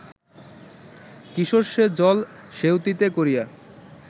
কিশোর সে-জল সেঁউতিতে করিয়া